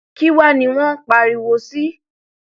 kí wàá ní wọn ń pariwo sí